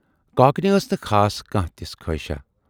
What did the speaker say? کاکنہِ ٲس نہٕ خاص کانہہ تِژھ خٲہِشاہ۔